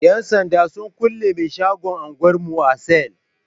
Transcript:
Yan sanda sun kulle mai shagon anguwar mu a sel.